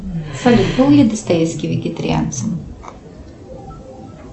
салют был ли достоевский вегетарианцем